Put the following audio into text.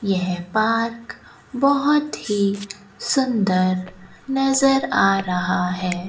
यह पार्क बहोत ही सुंदर नजर आ रहा है।